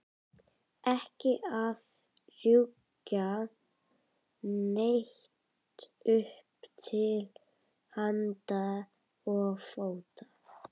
Ekki að rjúka neitt upp til handa og fóta.